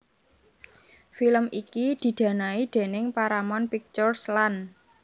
Film iki didanai déning Paramount Pictures lan